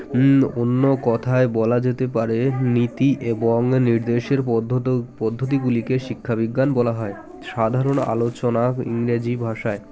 হুম অন্য কথায় বলা যেতে পারে নীতি এবং নির্দেশের পদ্ধত পদ্ধতি গুলিকে শিক্ষা বিজ্ঞান বলা হয় সাধারণ আলোচনা ইংরাজী ভাষায়